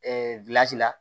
la